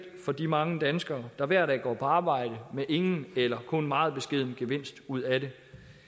for de mange danskere der hver dag går på arbejde med ingen eller kun meget beskeden gevinst ud af det